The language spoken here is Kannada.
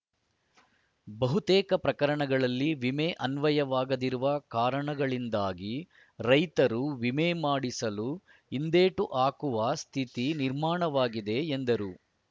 ಬಹುತೇಕ ಪ್ರಕರಣಗಳಲ್ಲಿ ವಿಮೆ ಅನ್ವಯವಾಗದಿರುವ ಕಾರಣಗಳಿಂದಾಗಿ ರೈತರು ವಿಮೆ ಮಾಡಿಸಲು ಹಿಂದೇಟು ಹಾಕುವ ಸ್ಥಿತಿ ನಿರ್ಮಾಣವಾಗಿದೆ ಎಂದರು